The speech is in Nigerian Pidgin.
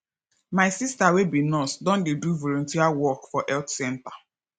my sista wey be nurse don dey do volunteer work for health center